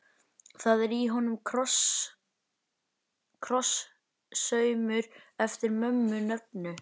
Það er í honum krosssaumur eftir mömmu nöfnu.